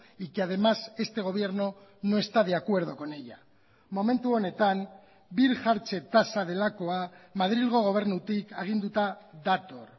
y que además este gobierno no está de acuerdo con ella momentu honetan birjartze tasa delakoa madrilgo gobernutik aginduta dator